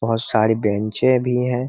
बहुत सारी बेंचे भी हैं ।